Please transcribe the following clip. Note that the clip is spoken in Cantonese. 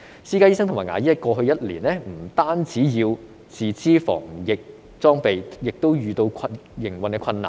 私家醫生和牙醫在過去一年不但要自資防疫裝備，亦遇到營運的困難。